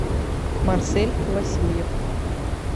марсель васильев